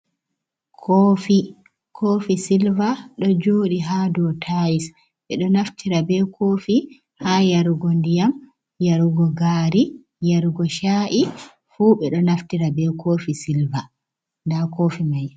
Kofi, kofi silva, ɗo joɗi ha ɗo tayils, ɓeɗo naftira ɓe kofi ha yarugo nɗiyam, yarugo gari, yarugo sha’i fu ɓeɗo naftira ɓe kofi silva. Nɗa kofi mai.